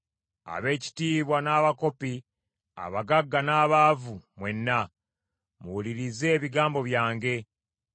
Ab’ekitiibwa n’abakopi, abagagga n’abaavu, mwenna; muwulirize ebigambo byange.